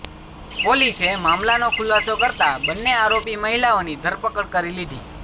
પોલીસે મામલાનો ખુલાસો કરતા બંને આરોપી મહિલાઓની ધરપકડ કરી લીધી